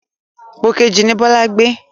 Pòkejì ni Bọlá gbé.